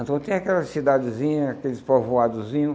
Então tinha aquela cidadezinha, aqueles povoadozinhos,